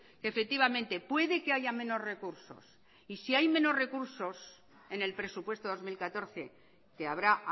que efectivamente puede que haya menos recursos y si hay menos recursos en el presupuesto dos mil catorce que habrá